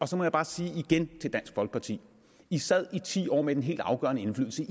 så må jeg bare sige igen til dansk folkeparti sad i ti år med den helt afgørende indflydelse